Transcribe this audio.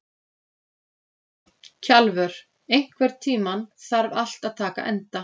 Kjalvör, einhvern tímann þarf allt að taka enda.